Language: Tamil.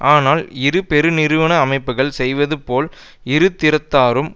ஆனால் இரு பெருநிறுவன அமைப்புக்கள் செய்வது போல் இரு திறத்தாரும்